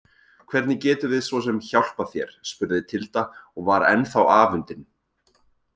Hvernig getum við svo sem hjálpað þér spurði Tilda og var ennþá afundin.